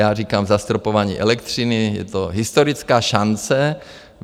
Já říkám zastropování elektřiny, je to historický šance.